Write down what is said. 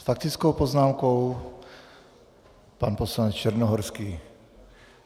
S faktickou poznámkou pan poslanec Černohorský.